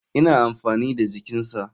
Ina amfani da jikinsa.